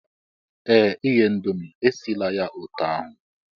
Ee! Ighe Indomie, esila ya otú ahụ